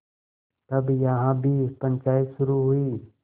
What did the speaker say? तब यहाँ भी पंचायत शुरू हुई